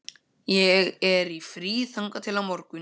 Ég er í fríi þangað til á morgun.